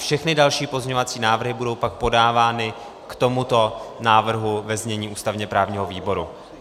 Všechny další pozměňovací návrhy budou pak podávány k tomuto návrhu ve znění ústavně-právního výboru.